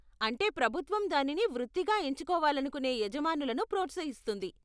అంటే ప్రభుత్వం దానిని వృత్తిగా ఎంచుకోవాలనుకునే యజమానులను ప్రోత్సహిస్తుంది.